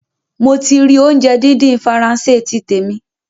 Mo ti rì óunjẹ dídín Faransé ti tèmi